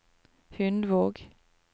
Hundvåg